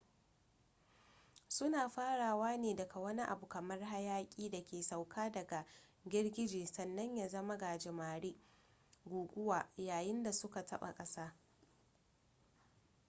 suna farawa ne daga wani abu kamar hayaki da ke sauka daga girgije sannan ya zama gajimare guguwa” yayin da suka taba kasa